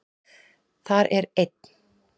Þar er einn